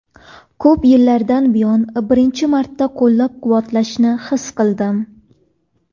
Ko‘p yillardan buyon birinchi marta qo‘llab-quvvatlashni his qildim.